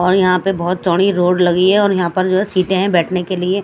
और यहाँ पे बहुत चौड़ी रोड लगी है और यहाँ पर जो है सीटें हैं बैठने के लिए।